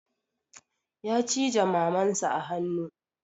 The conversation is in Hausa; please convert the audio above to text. Ya cije maman sa a hanu